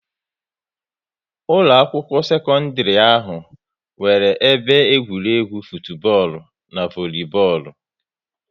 Ụlọ akwụkwọ sekọndrị ahụ nwere ebe egwuregwu futubọọlu n'volubọọlụ